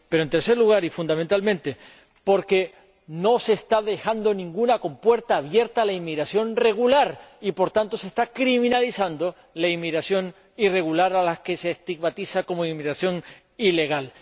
Pero en tercer lugar, y fundamentalmente, porque no se está dejando ninguna compuerta abierta a la inmigración regular y, por tanto, se está criminalizando la inmigración irregular, a la que se estigmatiza como inmigración ilegal.